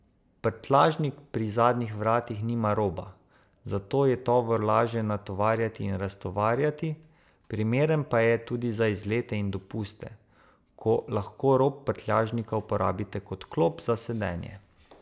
Prtljažnik pri zadnjih vratih nima roba, zato je tovor laže natovarjati in raztovarjati, primeren pa je tudi za izlete in dopuste, ko lahko rob prtljažnika uporabite kot klop za sedenje.